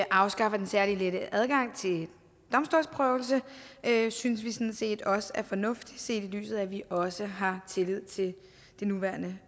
afskaffer den særlig lette adgang til domstolsprøvelse og det synes vi sådan set også er fornuftigt set i lyset af at vi også har tillid til det nuværende